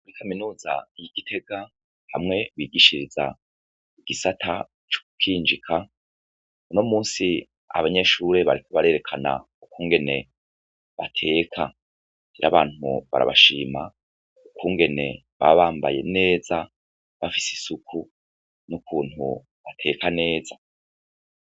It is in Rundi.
Kaminuza yi Gitega hamwe bigishiriza igisata co gukinjika, unomuns' abanyeshure bariko berekan' ukungene bateka, n abantu barabashima kungene baba bambaye neza bafis' isuku nukuntu bateka neza